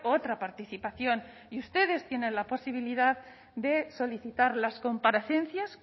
otra participación y ustedes tienen la posibilidad de solicitar las comparecencias